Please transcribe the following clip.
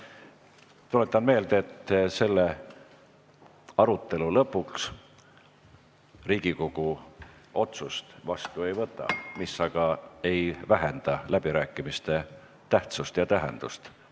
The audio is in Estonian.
Tuletan meelde, et selle arutelu lõpus Riigikogu otsust vastu ei võta, mis aga ei vähenda läbirääkimiste tähtsust ja tähendust.